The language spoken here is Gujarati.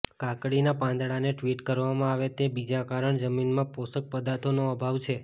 કાકડીના પાંદડાને ટ્વિટ કરવામાં આવે તે બીજા કારણ જમીનમાં પોષક પદાર્થોનો અભાવ છે